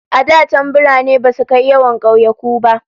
A da can birane basu kai yawan kauyuka ba.